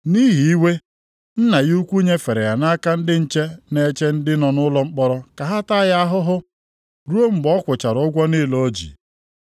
Nʼihi iwe, Nna ya ukwuu nyefere ya nʼaka ndị nche na-eche ndị nọ nʼụlọ mkpọrọ ka ha taa ya ahụhụ, ruo mgbe ọ kwụchara ụgwọ niile o ji.